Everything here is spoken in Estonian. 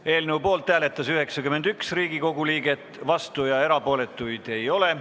Hääletustulemused Poolt hääletas 91 Riigikogu liiget, vastuolijaid ja erapooletuid ei ole.